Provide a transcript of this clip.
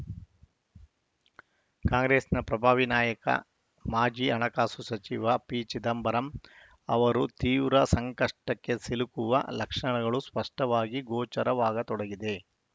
ಕಾಂಗ್ರೆಸ್ಸಿನ ಪ್ರಭಾವಿ ನಾಯಕ ಮಾಜಿ ಹಣಕಾಸು ಸಚಿವ ಪಿ ಚಿದಂಬರಂ ಅವರು ತೀವ್ರ ಸಂಕಷ್ಟಕ್ಕೆ ಸಿಲುಕುವ ಲಕ್ಷಣಗಳು ಸ್ಪಷ್ಟವಾಗಿ ಗೋಚರವಾಗತೊಡಗಿದೆ